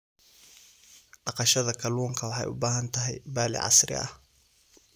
Dhaqashada kalluunka waxay u baahan tahay balli casri ah.